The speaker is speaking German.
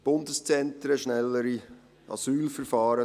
Bundeszentren, schnellere Asylverfahren: